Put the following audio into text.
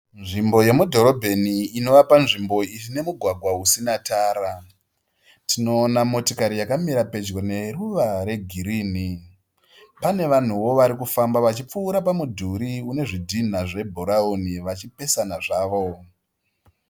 Nzvimbo yemudhorobheni inova panzvimbo ine mugwagwa usina tara. Tinoona motikari yakamira pedyo neruva regirini. Pane vanhuwo vari kufamba vachipfuura pamudhuri une zvidhinha zvebhurauni vachipesana zvavo.